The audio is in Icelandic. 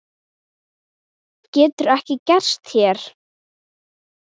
Getur ekki gerst hér.